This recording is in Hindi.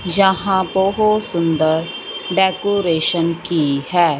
जहां बहोत सुंदर डेकोरेशन की है।